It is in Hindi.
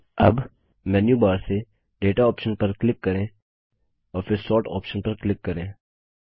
अब हम मेन्यूबार से दाता ऑप्शन पर क्लिक करें और फिर सोर्ट ऑप्शन पर क्लिक करें